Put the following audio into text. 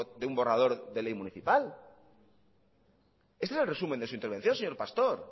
de un borrador de ley municipal este es el resumen de su intervención señor pastor